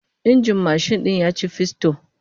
Injin mashin din ya ci fisto